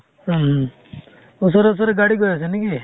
উম। ওচৰে ওচৰে গাড়ী গৈ আছে নেকি?